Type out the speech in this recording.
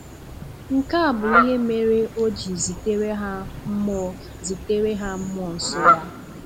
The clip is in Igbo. Nke a bụ ihe mere O ji zitere ha mmụọ zitere ha mmụọ nsọ Ya.